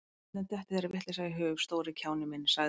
Hvernig dettur þér þessi vitleysa í hug, stóri kjáninn minn sagði